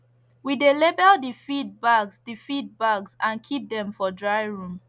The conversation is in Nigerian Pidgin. we dey label the feed bags the feed bags and keep dem for dry room